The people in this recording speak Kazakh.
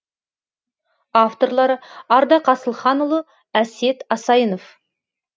авторлары ардақ асылханұлы әсет асайынов